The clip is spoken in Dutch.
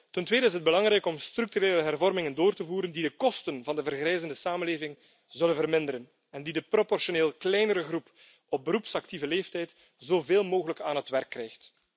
Ten tweede is het belangrijk om structurele hervormingen door te voeren die de kosten van de vergrijzende samenleving zullen verminderen, en waardoor de proportioneel kleinere groep op beroepsactieve leeftijd zoveel mogelijk aan het werk komt.